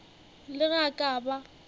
le ge a ka ba